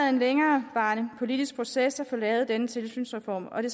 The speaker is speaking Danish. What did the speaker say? en længerevarende politisk proces at få lavet denne tilsynsreform og det